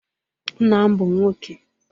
Nna m bụ nwọke